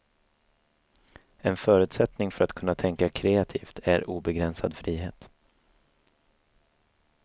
En förutsättning för att kunna tänka kreativt är obegränsad frihet.